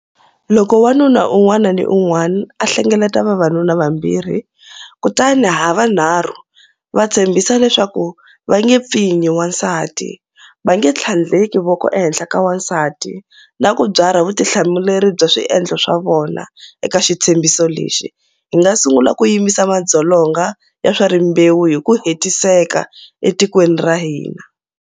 Loko wanuna un'wana ni un'wana a hlengeleta vavanuna vambirhi kutani ha vunharhu va tshembisa leswaku va nge pfinyi wansati, va nge tlhandleki voko ehenhla ka wansati na ku byarha vutihlamuleri bya swiendlo swa vona eka xitshembiso lexi, hi nga sungula ku yimisa madzolonga ya swa rimbewu hi ku hetiseka etikweni ra hina.